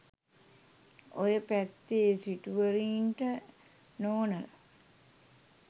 ඔය පැත්තේ සිටුවරයින්ට නෝනලා